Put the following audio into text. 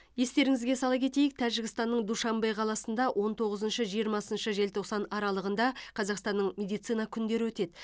естеріңізге сала кетейік тәжікстанның душанбе қаласында он тоғызыншы жиырмасыншы желтоқсан аралығында қазақстанның медицина күндері өтеді